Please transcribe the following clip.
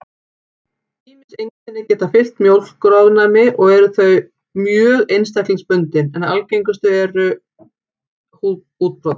Ýmis einkenni geta fylgt mjólkurofnæmi og eru þau mjög einstaklingsbundin, en algengustu einkennin eru húðútbrot.